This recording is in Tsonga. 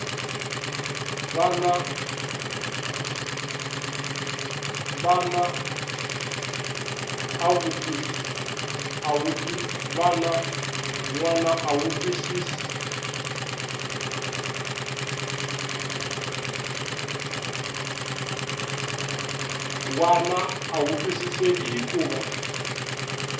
wana a wu twisiseki hikuva